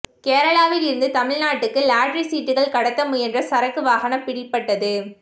கேரளாவில் இருந்து தமிழ்நாட்டுக்கு லாட்டரி சீட்டுகள் கடத்த முயன்ற சரக்கு வாகனம் பிடிபட்டது